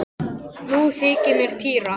Nú þykir mér týra!